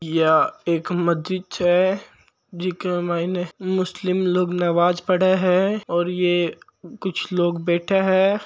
या एक मस्जिद छे जीके माइन मुस्लिम लोग नवाज पड़े हैं और यह कुछ लोग बैठा है।